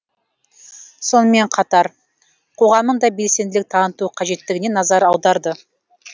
сонымен қатар қоғамың да белсенділік таныту қажеттігіне назар аударды